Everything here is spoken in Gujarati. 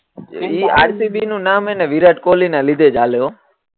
ઈ આરસીબી નું નામ હેને વિરાટ કોહલી ના લીધે હાલે હો